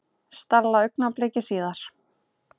Stella augnabliki síðar.